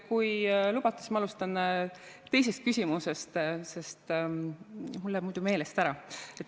Kui lubate, siis ma alustan teisest küsimusest, sest mul läheb muidu meelest ära.